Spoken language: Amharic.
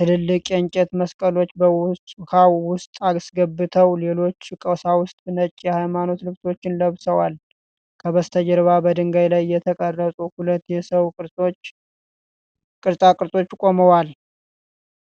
ትልልቅ የእንጨት መስቀሎችን በውኃው ውስጥ አስገብተዋል። ሌሎች ቀሳውስት ነጭ የሃይማኖት ልብሶችን ለብሰዋል። ከበስተጀርባ በድንጋይ ላይ የተቀረጹ ሁለት የሰው ቅርጻ ቅርጾች ቆመዋል።